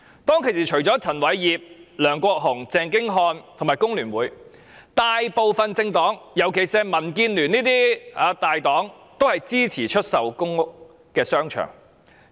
當時除了陳偉業、梁國雄、鄭經翰和工聯會外，大部分政黨，特別是民建聯這些大黨均支持政府出售公屋商場。